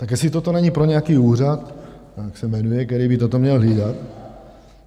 Tak jestli toto není pro nějaký úřad, jak se jmenuje, který by toto měl hlídat...